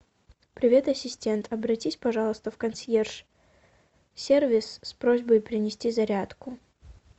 привет ассистент обратись пожалуйста в консьерж сервис с просьбой принести зарядку